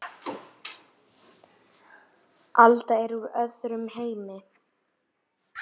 Alda er úr öðrum heimi.